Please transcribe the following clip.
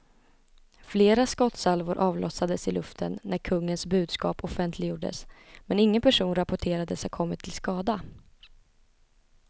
Flera skottsalvor avlossades i luften när kungens budskap offentliggjords, men ingen person rapporterades ha kommit till skada.